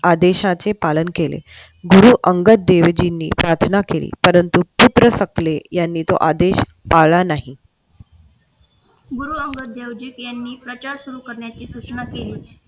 आदेशाचे पालन केले गुरु अंगदेवजीनी प्रार्थना केली परंतु आदेश पाळला नाही. गुरु अंगद देवजी यांनी प्रचार सुरु करण्याची सूचना केली.